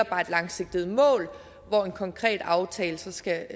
bare et langsigtet mål hvor en konkret aftale så skal